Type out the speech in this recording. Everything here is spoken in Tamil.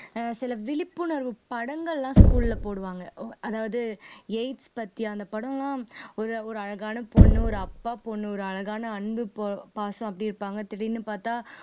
ஆஹ் சில விழிப்புணர்வு படங்கள்லாம் school ல போடுவாங்க ஓ அதாவது AIDS பத்தி அந்த படம்லாம் ஒரு ஒரு அழகான பொண்ணு ஒரு அப்பா பொண்ணு ஒரு அழகான அன்பு பொ பாசம் அப்படி இருப்பாங்க திடீர்ன்னு பாத்தா